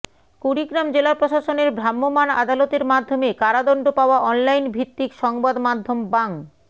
কুড়িগ্রাম জেলা প্রশাসনের ভ্রাম্যমাণ আদালতের মাধ্যমে কারাদণ্ড পাওয়া অনলাইন ভিত্তিক সংবাদমাধ্যম বাং